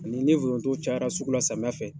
A ni ni foronto cayara sugu la samiya fɛ.